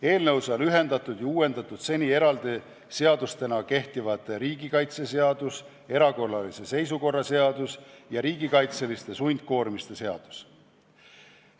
Eelnõus on ühendatud ja uuendatud seni eraldi seadustena kehtivad riigikaitseseadus, erakorralise seisukorra seadus ja riigikaitseliste sundkoormiste seadus.